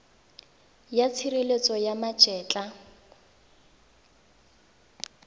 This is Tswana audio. ya tshireletso ya ma etla